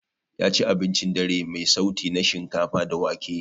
Yaci abincin dare mai sauti na shinkafa da wake.